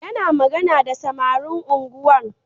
Yana magana da samarin unguwar